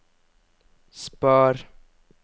spar